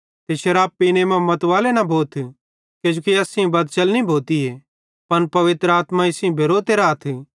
ते शराब पीने मां मतवाले न भोथ किजोकि एस सेइं बदचलनी भोतीए पन पवित्र आत्मा सेइं भेरोते राथ